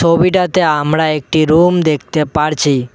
ছবিটাতে আমরা একটি রুম দেখতে পারছি।